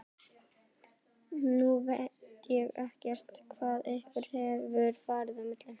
Nú veit ég ekkert hvað ykkur hefur farið á milli?